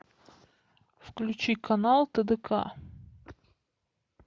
включи канал тдк